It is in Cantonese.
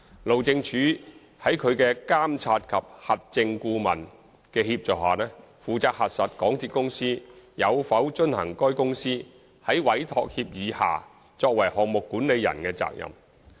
路政署在其監察及核證顧問的協助下，負責核實港鐵公司有否遵行該公司在委託協議下作為項目管理人的責任。